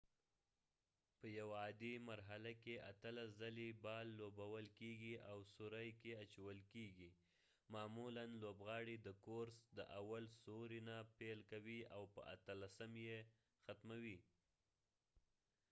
په یو عادي مرحله کې اتلس ځلی بال لوبول کېږی او سوری کې اچول کېږی معمولا لوبغاړی د کورس د اول سوری نه پیل کوي او په اتلسم یې ختموي